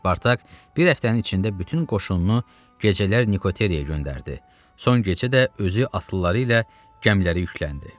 Spartak bir həftənin içində bütün qoşununu gecələr Nikoteraya göndərdi, son gecə də özü atlıları ilə gəmilərə yükləndi.